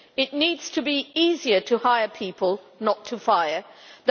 It needs to be easier to hire people, not to fire them.